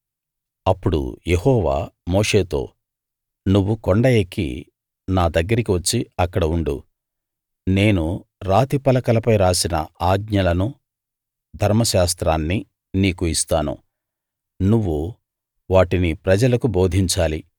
అప్పుడు యెహోవా మోషేతో నువ్వు కొండ ఎక్కి నా దగ్గరికి వచ్చి అక్కడ ఉండు నేను రాతి పలకలపై రాసిన ఆజ్ఞలనూ ధర్మశాస్త్రాన్నీ నీకు ఇస్తాను నువ్వు వాటిని ప్రజలకు బోధించాలి